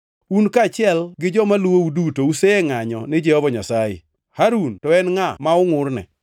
Un kaachiel gi joma luwou duto usengʼanyo ni Jehova Nyasaye. Harun to en ngʼa ma ungʼurne?”